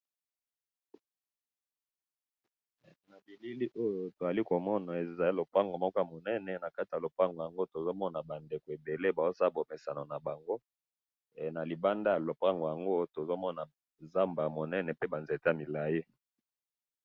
na bilili oyo tozali komona ezali lupango moko ya munene, nakati ya lupango yango tozomona ba ndeko ebele bazosala bokesana na bango, na libanda ya lupango yango tozomona nzamba ya munene, pe ba nzete ya molayi